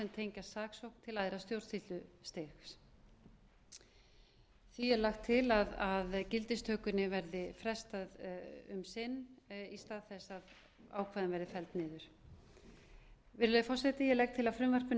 tengjast saksókn til æðra stjórnsýslustigs því er lagt til að gildistökunni verði frestað um sinn í stað þess að ákvæðin verði felld niður virðulegi forseti ég legg til að frumvarpinu verði